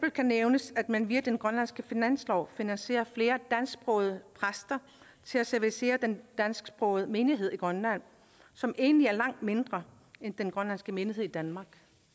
nævnes at man via den grønlandske finanslov finansierer flere dansksprogede præster til at servicere den dansksprogede menighed i grønland som egentlig er langt mindre end den grønlandske menighed i danmark